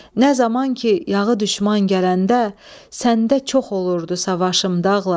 Nə zaman ki, yağı düşman gələndə, səndə çox olurdu savaşım dağlar.